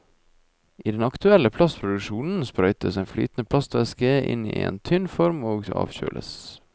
I den aktuelle plastproduksjonen sprøytes en flytende plastvæske inn i en tynn form og avkjøles.